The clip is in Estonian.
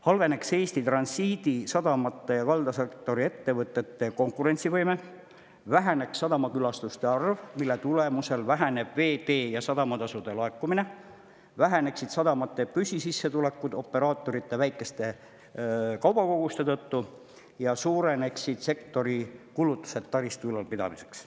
Halveneks Eesti transiidisadamate ja kaldasektori ettevõtete konkurentsivõime, väheneks sadamakülastuste arv, mille tulemusel väheneks veetee‑ ja sadamatasude laekumine, väheneksid sadamate püsisissetulekud operaatorite väikeste kaubakoguste tõttu ja suureneksid sektori kulutused taristu ülalpidamiseks.